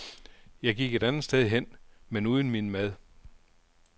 Jeg gik et andet sted hen, men uden min mad.